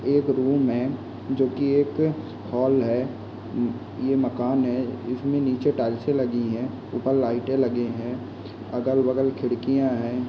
इस रूम में जो की एक हाल है यह मकान है इसमें नीचे टाइल्स से लगी है ऊपर लाइटे लगी है अगल-बगल खिड़कियां है।